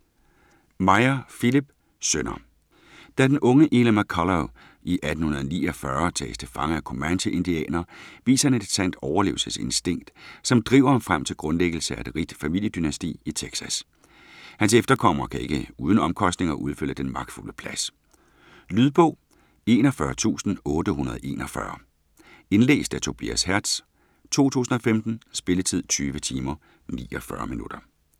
Meyer, Philipp: Sønner Da den unge Eli McCullough i 1849 tages til fange af comanche indianere, viser han et sandt overlevelsesinstinkt, som driver ham frem til grundlæggelse af et rigt familiedynasti i Texas. Hans efterkommere kan ikke uden omkostninger udfylde den magtfulde plads. Lydbog 41841 Indlæst af Tobias Hertz, 2015. Spilletid: 20 timer, 49 minutter.